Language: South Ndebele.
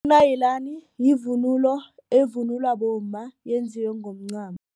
yivunulo evunulwa bomma eyenziwe ngomncamo.